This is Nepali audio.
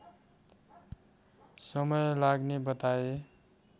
समय लाग्ने बताए